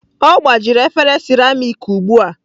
Ọ gbajiri efere seramiiki ugbu a.